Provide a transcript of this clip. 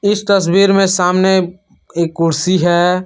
इस तस्वीर में सामने एक कुर्सी है।